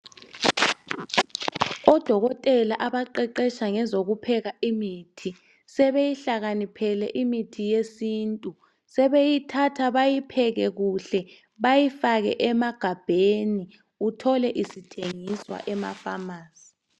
Odokotela abaqeqetsha ngezoku pheka imithi, sebeyihlakaniphele imithi yesintu sebeyithatha beyipheke kuhle bayifake emagabheni uthole isithengiswa emafamasi.